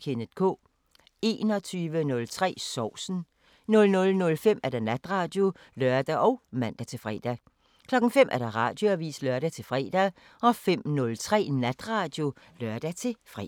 21:03: Sovsen 00:05: Natradio (lør og man-fre) 05:00: Radioavisen (lør-fre) 05:03: Natradio (lør-fre)